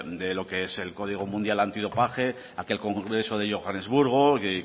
de lo que es el código mundial antidopaje aquel congreso de johannesburgo y